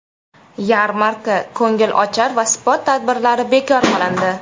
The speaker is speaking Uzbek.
Yarmarka, ko‘ngilochar va sport tadbirlari bekor qilindi.